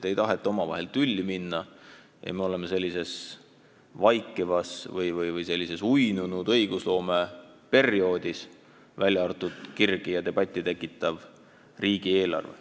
Ei taheta omavahel tülli minna ja nii ongi õigusloome sellises vaikivas või uinunud seisundis, välja arvatud kirgi ja debatti tekitav riigieelarve.